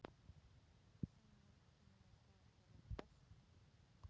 Finnur þú fyrir pressunni?